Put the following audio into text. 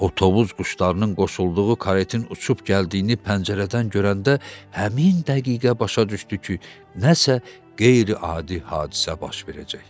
O tovuz quşlarının qoşulduğu karetin uçub gəldiyini pəncərədən görəndə həmin dəqiqə başa düşdü ki, nəsə qeyri-adi hadisə baş verəcək.